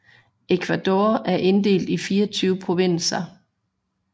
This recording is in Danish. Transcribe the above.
Ecuador er inddelt i 24 provinser